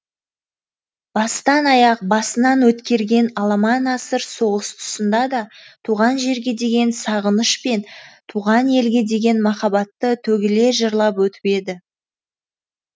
бастан аяқ басынан өткерген аламан асыр соғыс тұсында да туған жерге деген сағыныш пен туған елге деген махаббатты төгіле жырлап өтіп еді